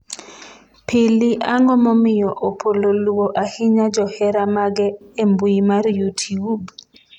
pili ang'o momiyo opolo luwo ahinya johera mage e mbui mar youtube?